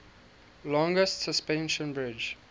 longest suspension bridge